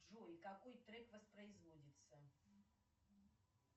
джой какой трек воспроизводится